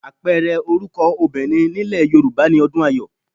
Àpẹẹrẹ orúkọ obìnrin nílẹ̀ Yorùbá ni Ọdùnayọ̀